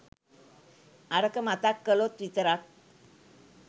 අරක මතක් කලොත් විතරක්